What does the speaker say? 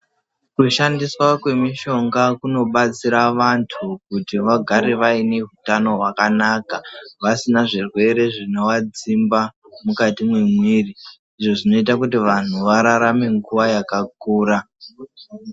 Kushandiswa kwemishonga kunobatsira vanthu kuti vagare vaine utano hwakanaka, vasina zvirwere zvinovadzimba mukati memwiri izvo zvinoita kuti vanthu vararame nguwa yakakura.